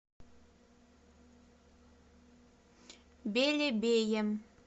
белебеем